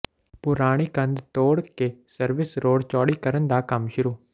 ਪੁਰਾਣੀ ਕੰਧ ਤੋੜ ਕੇ ਸਰਵਿਸ ਰੋਡ ਚੌੜੀ ਕਰਨ ਦਾ ਕੰਮ ਸ਼ੁਰੂ